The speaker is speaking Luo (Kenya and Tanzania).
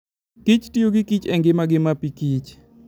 kich tiyo gi kich e ngimagi mapikich.